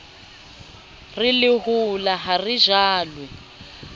re lehola ha le jalwe